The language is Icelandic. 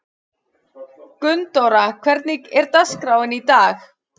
Gunndóra, hvernig er dagskráin í dag?